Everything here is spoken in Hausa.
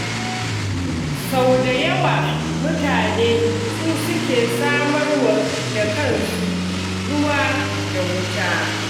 Sau da yawa mutane su suke samarwa da kansu ruwa da wuta.